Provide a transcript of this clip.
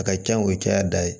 A ka can o ye caya da ye